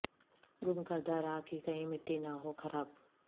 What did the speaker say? گم کردہ راہ کی کہیں مٹی نہ ہو خراب